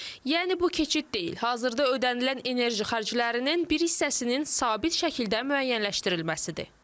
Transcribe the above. Yəni bu keçid deyil, hazırda ödənilən enerji xərclərinin bir hissəsinin sabit şəkildə müəyyənləşdirilməsidir.